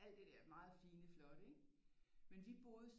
Alt det der meget fine flotte ikke men vi boede